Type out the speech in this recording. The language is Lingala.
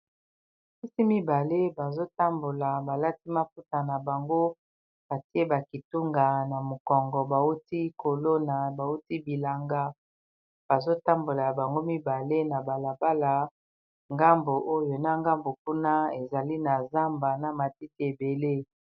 bapisi mibale bazotambola balati maputa na bango atie bakitunga na mokongo bauti kolona bauti bilanga bazotambola bango mibale na balabala ngambu oyo na ngambu kuna ezali na zamba na matiti ebele